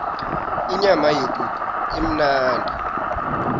inyama yekukhu imnandi